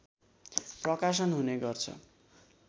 प्रकाशन हुने गर्छ